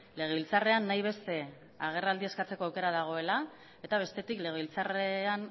legebiltzarrean nahi beste agerraldi eskatzeko aukera dagoela eta bestetik legebiltzarrean